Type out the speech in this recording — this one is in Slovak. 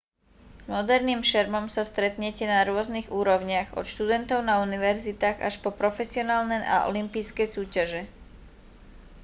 s moderným šermom sa stretnete na rôznych úrovniach od študentov na univerzitách až po profesionálne a olympijské súťaže